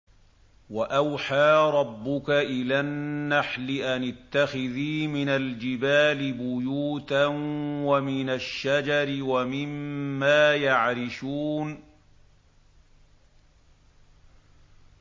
وَأَوْحَىٰ رَبُّكَ إِلَى النَّحْلِ أَنِ اتَّخِذِي مِنَ الْجِبَالِ بُيُوتًا وَمِنَ الشَّجَرِ وَمِمَّا يَعْرِشُونَ